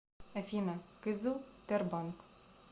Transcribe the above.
афина кызыл тербанк